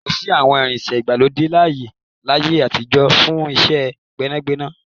Kòsí àwọn irinṣẹ́ ìgbàlódé láyé àtijọ́ fún iṣẹ́ gbẹ́nàgbẹnà.